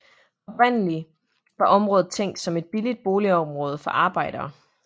Oprindelig var området tænkt som et billigt boligområde for arbejdere